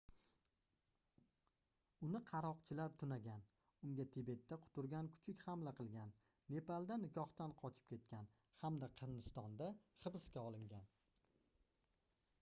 uni qaroqchilar tunagan unga tibetda quturgan kuchuk hamla qilgan nepalda nikohdan qochib ketgan hamda hindistonda hibsga olingan